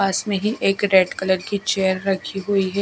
पास में ही एक रेड कलर की चेयर रखी हुई है।